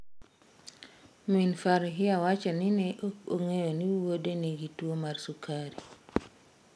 Min Farhia wacho ni ne ok ong'eyo ni wuode nigi tuwo mar sukari.